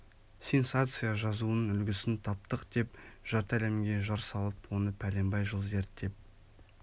сенсация жазуының үлгісін таптық деп жарты әлемге жар салып оны пәленбай жыл зерттеп